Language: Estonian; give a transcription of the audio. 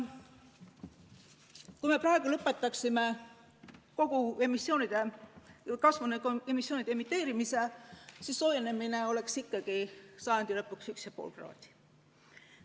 Kui me praegu lõpetaksime kogu kasvuhoonegaaside õhkupaiskamise, siis soojenemine oleks ikkagi sajandi lõpuks 1,5 kraadi.